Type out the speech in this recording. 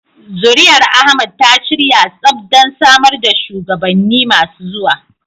Zuri'ar Ahmad ta shirya tsaf don samar da shugabanni masu zuwa.